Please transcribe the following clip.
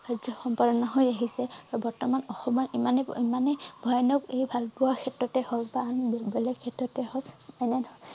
কাৰ্য্য সম্পাদন হৈ আহিছে বৰ্তমান অসমৰ ইমানেই ইমানেই ভয়ানক এই ভাল পোৱা ক্ষেত্ৰ তেই হওঁক বা আন বেলেগ ক্ষেত্ৰতে হওঁক এনেধৰণৰ